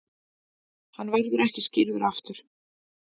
Hann verður ekki skírður aftur.